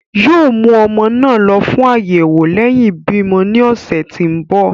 yoo mú ọmọ náà lọ fún ayẹwo lẹhin ibimọ ní ọsẹ tí nbọ.